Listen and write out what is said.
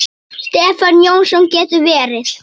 Stefán Jónsson getur verið